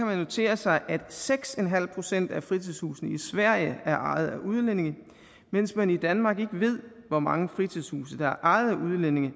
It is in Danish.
man notere sig at seks procent af fritidshusene i sverige er ejet af udlændinge mens man i danmark ikke ved hvor mange fritidshuse der er ejet af udlændinge